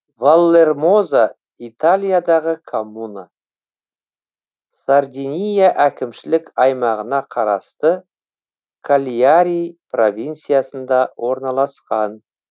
валлермоза италиядағы коммуна сардиния әкімшілік аймағына қарасты кальяри провинциясында орналасқан